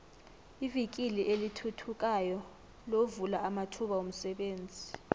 ivikili elithuthukayo lovula amathuba womsebenzi